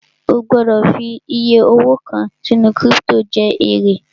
O gbọ́dọ̀ fi iyẹ owó kàn sínú kírípítò jẹ èrè